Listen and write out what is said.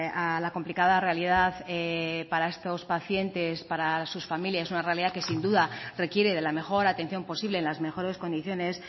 a la complicada realidad para estos pacientes para sus familias una realidad que sin duda requiere de la mejor atención posible en las mejores condiciones